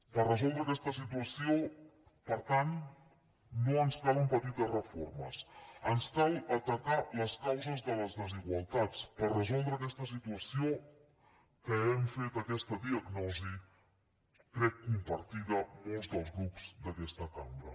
per resoldre aquesta situació per tant no ens calen petites reformes ens cal atacar les causes de les desigualtats per resoldre aquesta situació de què hem fet aquesta diagnosi crec compartida molts dels grups d’aquesta cambra